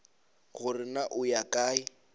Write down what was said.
gore na o ya kae